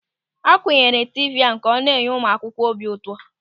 A kunyere tiivii ahụ ka ọ na-enye ụmụ akwụkwọ obi ụtọ.